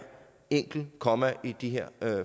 enkelt komma i de her